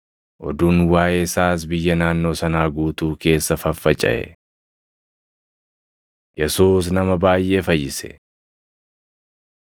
Oduun waaʼee isaas biyya naannoo sanaa guutuu keessa faffacaʼe. Yesuus Nama Baayʼee Fayyise 4:38‑41 kwf – Mat 8:14‑17 4:38‑43 kwf – Mar 1:29‑38